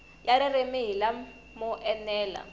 ya ririmi hi lamo enela